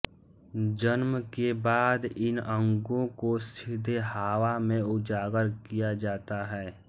जन्म के बाद इन अंगों को सीधे हवा में उजागर किया जाता है